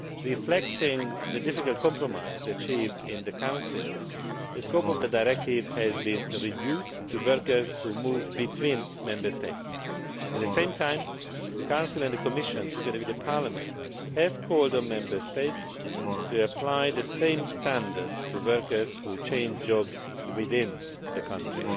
Reflecting the difficult compromise achieved in the Council, the scope of the directive has been reduced to workers who move between Member States. At the same time the Council and the Commission, together with the Parliament, have called on Member States to apply the same standards to workers who change jobs within the country.